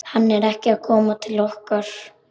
Hann er ekki að koma til okkar.